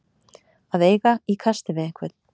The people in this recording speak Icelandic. Að eiga í kasti við einhvern